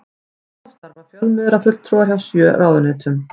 Þá starfa fjölmiðlafulltrúar hjá sjö ráðuneytum